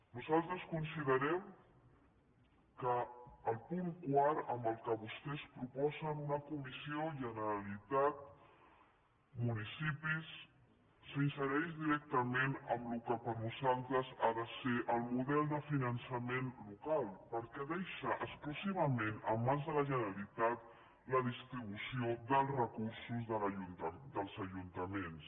nosaltres considerem que el punt quart amb què vostès proposen una comissió generalitat municipis s’insereix directament amb allò que per a nosaltres ha de ser el model de finançament local perquè deixa exclusivament en mans de la generalitat la distribució dels recursos dels ajuntaments